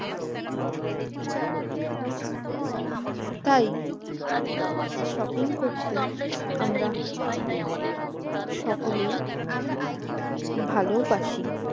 তাই shopping করতে আমরা সকলেই ভালোবাসি